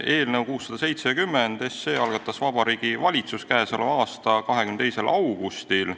Eelnõu 670 algatas Vabariigi Valitsus k.a 22. augustil.